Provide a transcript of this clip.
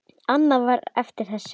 Annað var eftir þessu.